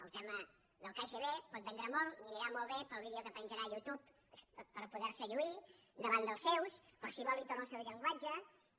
el tema del kgb pot vendre molt li anirà molt bé per al vídeo que penjarà a youtube per poder se lluir davant dels seus però si vol i torno al seu llenguatge